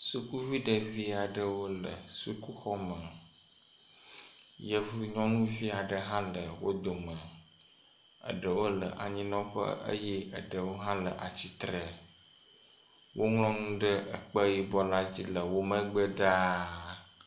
Sukuvi ɖevi aɖewo le sukuxɔme. Yevu nyɔnuvi aɖe hã le wo dome eɖewo le anyinɔƒe eye eɖewo hã le atsitre. Woŋlɔ nu ɖe ekpe yibɔ la dzi le womegbe ɖaa.